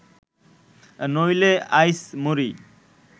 নহিলে, আইস মরি